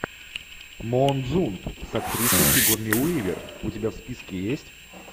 моонзунд с актрисой сигурни уивер у тебя в списке есть